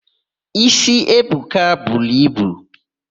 Ísí Ebuka buru ibu.